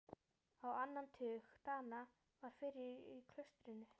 Á annan tug Dana var fyrir í klaustrinu.